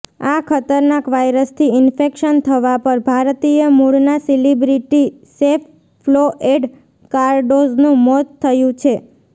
આ ખતરનાક વાયરસથી ઇન્ફેક્શન થવા પર ભારતીય મૂળનાં સેલિબ્રિટી શેફ ફ્લોએડ કાર્ડોઝનું મોત થયું છે